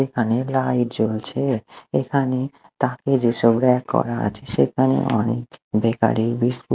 এখানে লাইট জ্বলছে এখানে তাকে যেসব ব়্যাক করা আছে সেখানে অনেক বেকারি -র বিস্কুট --